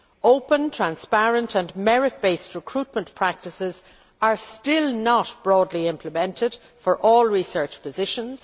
Open, transparent and merit based recruitment practices are still not broadly implemented for all research positions.